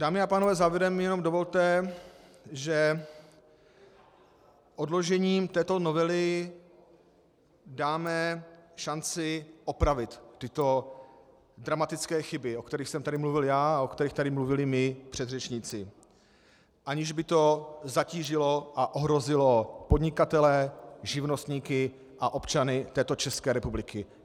Dámy a pánové, závěrem mi jenom dovolte , že odložením této novely dáme šanci opravit tyto dramatické chyby, o kterých jsem tady mluvil já a o kterých tady mluvili mí předřečníci, aniž by to zatížilo a ohrozilo podnikatele, živnostníky a občany této České republiky.